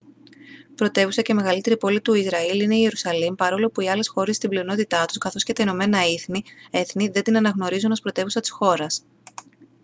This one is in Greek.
πρωτεύουσα και μεγαλύτερη πόλη του ισραήλ είναι η ιερουσαλήμ παρόλο που οι άλλες χώρες στην πλειονότητά τους καθώς και τα ηνωμένα έθνη δεν την αναγνωρίζουν ως πρωτεύουσα της χώρας